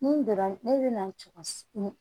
Ni donna ne bɛ na cogo si ni